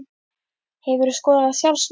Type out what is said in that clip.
Hefurðu skorað sjálfsmark?